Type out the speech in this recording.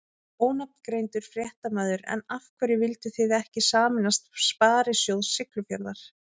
Ónafngreindur fréttamaður: En af hverju vildu þið ekki sameinast Sparisjóð Siglufjarðar?